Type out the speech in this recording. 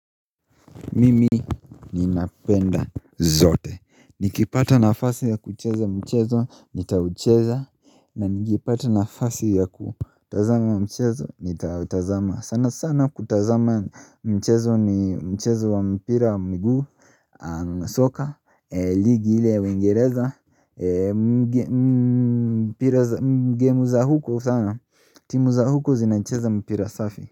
Mimi ni napenda zote Nikipata nafasi ya kucheza mchezo Nitaucheza na nikipata na fasi ya kutazama mchezo Nitautazama sana sana kutazama mchezo ni mchezo wa mpira mguu soka ligi ile wingereza gemu za huko sana timu za huko zinacheza mpira safi.